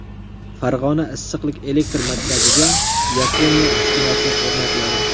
Farg‘ona issiqlik elektr markaziga Yaponiya uskunasi o‘rnatiladi.